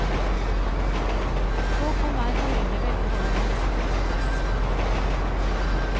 Så kan hver familie velge hvordan tilskuddet brukes.